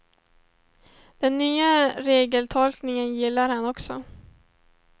Den nya regeltolkningen gillar han också.